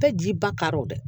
Bɛɛ ji ba kar o dɛ